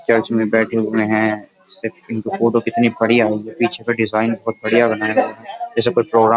church में बैठे हुए हैं इनकी फोटो कितनी बढ़िया है पीछे का डिजाइन बहुत बढ़िया बनाया जैसे कोई प्रोग्राम --